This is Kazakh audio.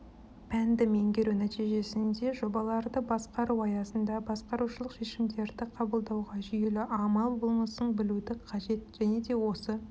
пәнді меңгеру нәтижесінде маман жобаларды басқару аясында басқарушылық шешімдерді қабылдауға жүйелі амал болмысын білуді қажет және де осы